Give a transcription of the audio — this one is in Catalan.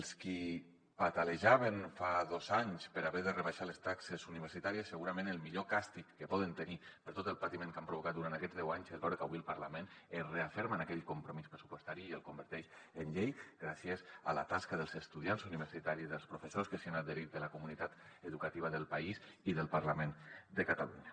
els qui patalejaven fa dos anys per haver de rebaixar les taxes universitàries segurament el millor càstig que poden tenir per tot el patiment que han provocat durant aquests deu anys és veure que avui el parlament es referma en aquell compromís pressupostari i el converteix en llei gràcies a la tasca dels estudiants universitaris dels professors que s’hi han adherit de la comunitat educativa del país i del parlament de catalunya